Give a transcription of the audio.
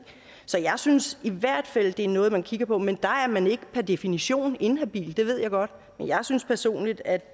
så jeg synes i hvert fald det er noget man kigger på men der er man ikke per definition inhabil det ved jeg godt men jeg synes personligt at